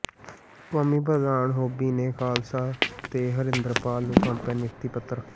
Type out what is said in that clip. ਕੌਮੀ ਪ੍ਰਧਾਨ ਹੌਬੀ ਨੇ ਖ਼ਾਲਸਾ ਤੇ ਹਰਿੰਦਰਪਾਲ ਨੂੰ ਸੌਂਪਿਆ ਨਿਯੁਕਤੀ ਪੱਤਰ